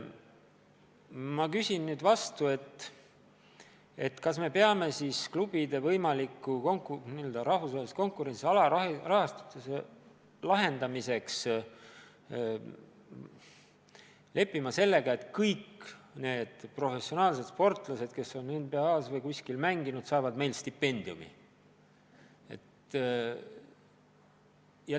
Ma küsin nüüd vastu, kas me peame siis klubide võimaliku rahvusvahelises konkurentsis alarahastatuse lahendamiseks olema nõus sellega, et kõik professionaalsed sportlased, kes mängivad näiteks NBA-s või kuskil mujal, saavad meil stipendiumi.